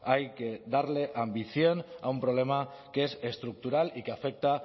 hay que darle ambición a un problema que es estructural y que afecta